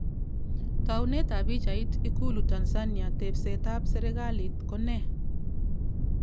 Tounet ab pichait, IKULU TANZANIA tebset ab serkalit ko ne?